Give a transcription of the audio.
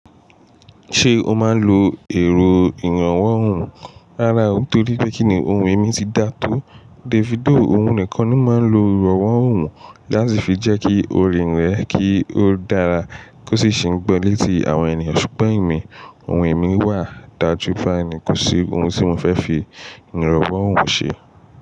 Ṣé o máa ń lo ìrànwọ́ ohùn? Rárá o, nítorí pé kíni ohùn mi ti dáa tó Davido òun nìkan ni ó máa ń lo ìrànwọ́ òhùn láti fi jẹ́kí orin rẹ kí ó dára kó sì ṣe ń gbọ́ létí àwọn ènìyàn. Ṣùgbọ́n èmi, ohun èmi wà dajù báyìí ni kò sí ohun tí mo fẹ́ fi ìrànwọ́ òhùn ṣe.